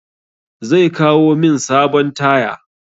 Zai kawo min sabon taya.